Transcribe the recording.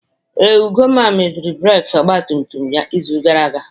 Ee, Ugonna meziri breeki ọgba tum tum ya izu gara aga.